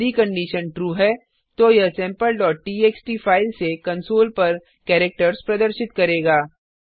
यदि condition true है तो यह sampleटीएक्सटी फाइल से कंसोल पर कैरेक्टर्स प्रदर्शित करेगा